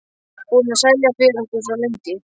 Búinn að selja fyrir okkur svo lengi.